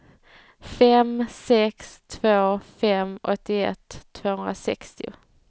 fem sex två fem åttioett tvåhundrasextio